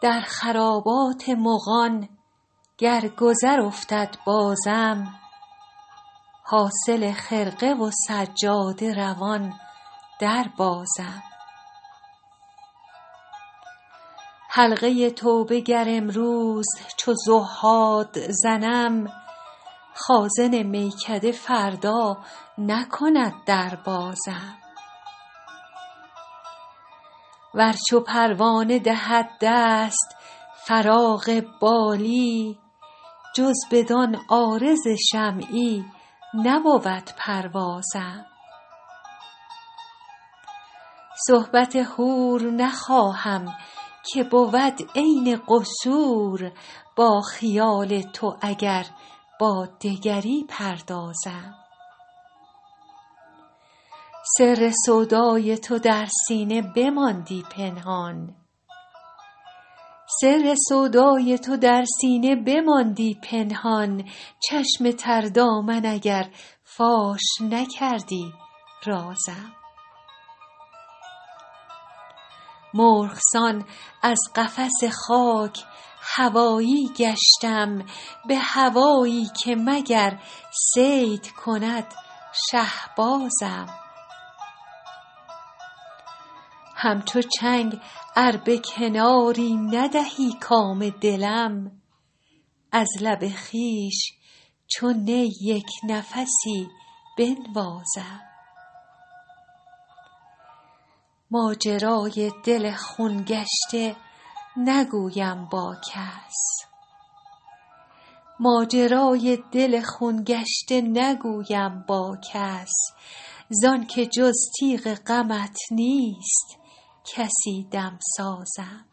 در خرابات مغان گر گذر افتد بازم حاصل خرقه و سجاده روان دربازم حلقه توبه گر امروز چو زهاد زنم خازن میکده فردا نکند در بازم ور چو پروانه دهد دست فراغ بالی جز بدان عارض شمعی نبود پروازم صحبت حور نخواهم که بود عین قصور با خیال تو اگر با دگری پردازم سر سودای تو در سینه بماندی پنهان چشم تر دامن اگر فاش نکردی رازم مرغ سان از قفس خاک هوایی گشتم به هوایی که مگر صید کند شهبازم همچو چنگ ار به کناری ندهی کام دلم از لب خویش چو نی یک نفسی بنوازم ماجرای دل خون گشته نگویم با کس زان که جز تیغ غمت نیست کسی دمسازم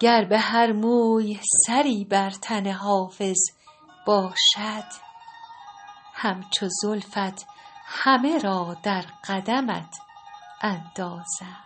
گر به هر موی سری بر تن حافظ باشد همچو زلفت همه را در قدمت اندازم